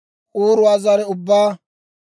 k'uuruwaa zare ubbaa,